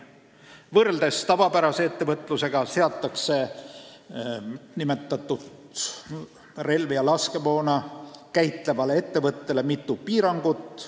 Võrreldes tavapärase ettevõtlusega seatakse nimetatud relvi ja laskemoona käitlevale ettevõttele mitu piirangut.